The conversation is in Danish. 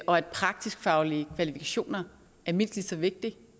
og at praktisk faglige kvalifikationer er mindst lige så vigtige